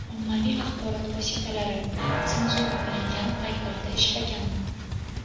ommaviy axborot vositalari senzura qilingan paytlarda ishlaganman.